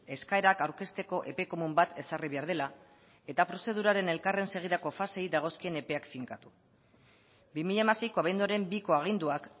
eskaerak aurkezteko epe komun bat ezarri behar dela eta prozeduraren elkarren segidako faseei dagozkien epeak finkatu bi mila hamaseiko abenduaren biko aginduak